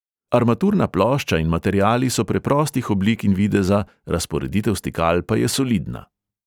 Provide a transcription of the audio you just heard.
Armaturna plošča in materiali so preprostih oblik in videza, razporeditev stikal pa je solidna.